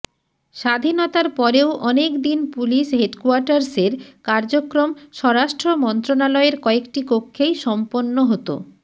স্বাধীনতার পরেও অনেক দিন পুলিশ হেডকোয়ার্টার্সের কার্যক্রম স্বরাষ্ট্র মন্ত্রণালয়ের কয়েকটি কক্ষেই সম্পন্ন হত